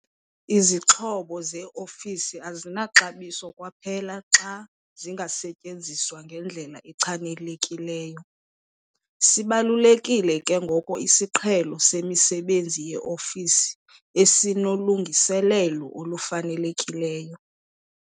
Izixhobo zeofisi azinaxabiso kwaphela xa zingasetyenziswa ngendlela echanekileyo. Sibalulekile ke ngoko isiqhelo semisebenzi yeofisi esinolungiselelo olufanelekileyo.